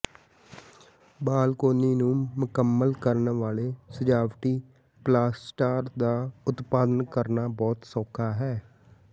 balcony ਨੂੰ ਮੁਕੰਮਲ ਕਰਨ ਵਾਲੇ ਸਜਾਵਟੀ ਪਲਾਸਟਰ ਦਾ ਉਤਪਾਦਨ ਕਰਨਾ ਬਹੁਤ ਸੌਖਾ ਹੈ